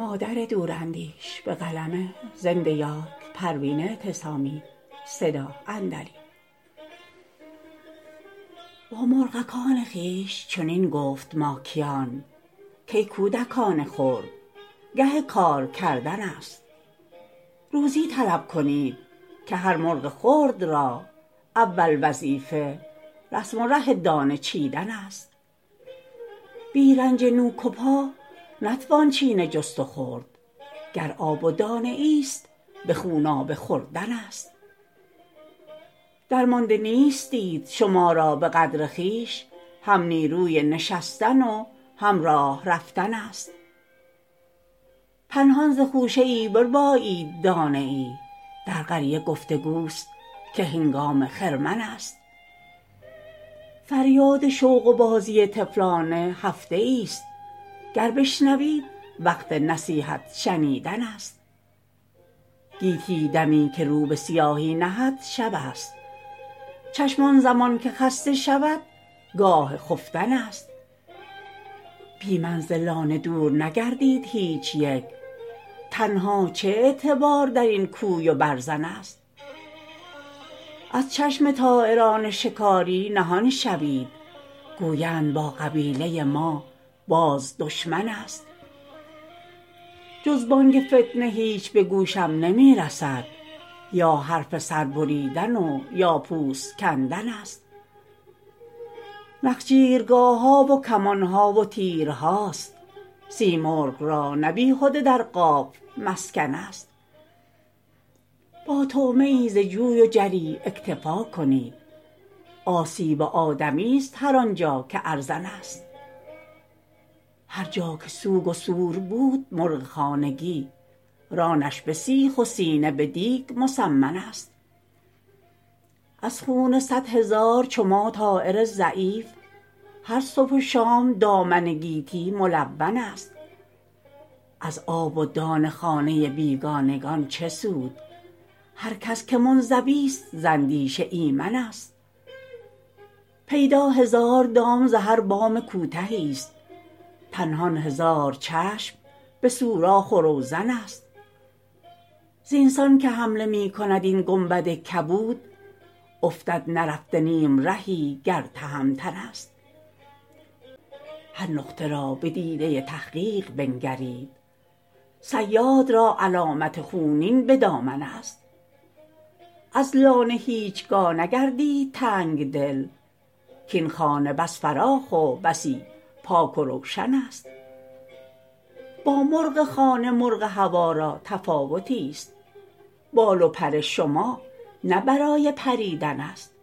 با مرغکان خویش چنین گفت ماکیان کای کودکان خرد گه کار کردن است روزی طلب کنید که هر مرغ خرد را اول وظیفه رسم و ره دانه چیدن است بی رنج نوک و پا نتوان چینه جست و خورد گر آب و دانه ایست به خونابه خوردن است درمانده نیستید شما را به قدر خویش هم نیروی نشستن و هم راه رفتن است پنهان ز خوشه ای بربایید دانه ای در قریه گفتگوست که هنگام خرمن است فریاد شوق و بازی طفلانه هفته ایست گر بشنوید وقت نصیحت شنیدن است گیتی دمی که رو به سیاهی نهد شب است چشم آنزمان که خسته شود گاه خفتن است بی من ز لانه دور نگردید هیچ یک تنها چه اعتبار در این کوی و برزن است از چشم طایران شکاری نهان شوید گویند با قبیله ما باز دشمن است جز بانگ فتنه هیچ به گوشم نمیرسد یا حرف سر بریدن و یا پوست کندن است نخجیرگاه ها و کمان ها و تیرهاست سیمرغ را نه بیهده در قاف مسکن است با طعمه ای ز جوی و جری اکتفا کنید آسیب آدمی است هر آنجا که ارزان است هر جا که سوگ و سور بود مرغ خانگی رانش به سیخ و سینه به دیگ مسمن است از خون صدهزار چو ما طایر ضعیف هر صبح و شام دامن گیتی ملون است از آب و دان خانه بیگانگان چه سود هر کس که منزوی است زاندیشه ایمن است پیدا هزار دام ز هر بام کوتهی است پنهان هزار چشم به سوراخ و روزن است زینسان که حمله میکند این گنبد کبود افتد نرفته نیمرهی گر تهمتن است هر نقطه را به دیده تحقیق بنگرید صیاد را علامت خونین به دامن است از لانه هیچگاه نگردید تنگ دل کاینخانه بس فراخ و بسی پاک و روشن است با مرغ خانه مرغ هوا را تفاوتی است بال و پر شما نه برای پریدن است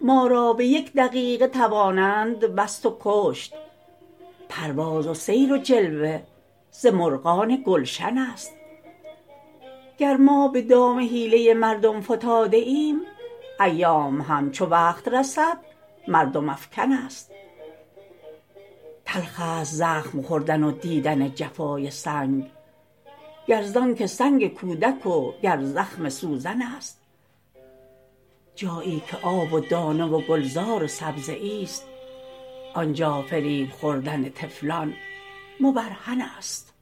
ما را به یک دقیقه توانند بست و کشت پرواز و سیر و جلوه ز مرغان گلشن است گر به دام حیله مردم فتاده ایم ایام هم چو وقت رسد مردم افکن است تلخست زخم خوردن و دیدن جفای سنگ گر زانکه سنگ کودک و گر زخم سوزن است جایی که آب و دانه و گلزار و سبزه ایست آنجا فریب خوردن طفلان مبرهن است